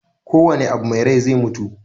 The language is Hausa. Kowanne abu me rai zai mutu.